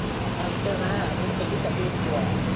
நான் விட்டறேன் அப்படின்னு சொல்லி தள்ளி விட்டுருவான்.